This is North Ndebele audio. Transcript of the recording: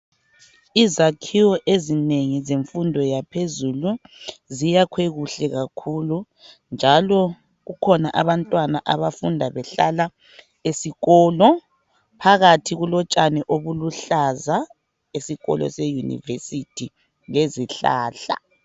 Izakhiwo ezinengi zemfundo yaphezulu ziyakhwe kuhle kakhulu njalo kukhona abantwana abafunda behlala esikolo. Phakathi kulotshani obuluhlaza esikolo se university lezihlahla.